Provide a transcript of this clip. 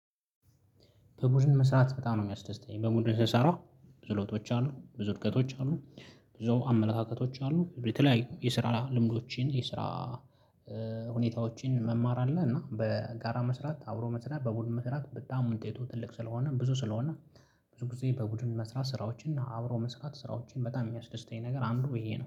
በቡድን መስራት በጣም ነው የሚያስደስተኝ በቡድን ስሰራ ክህሎቶች አሉ እድገቶች አሉ። ብዙ አመለካከቶች አሉ የተለያዩ የስራ ልምዶችን የስራ ሁኔታዎችን መማር አለ። እና በጋራ መስራት አብሮ መስራት በቡድን መስራት በጣም ውጤቱ ትልቅ ስለሆነ ብዙ ስለሆነ። ብዙ ጊዜ በቡድን መስራት ስራዎችን እና አብሮ መስራት ስራዎችን በጣም ሚያስደስተኝ ነገር አንዱ ይሄ ነው